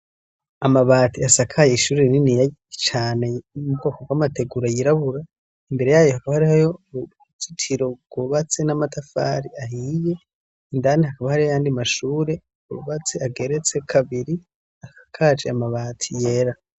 Amabati asakaye ishurii nini yacane imbo kobwo amategura yirabura imbere yayo hahareho yo urujitiro rwubatse n'amatafari ahiye indanti akabahare yandi mashure ubatse ageretse kabiri akakaje amabati yera.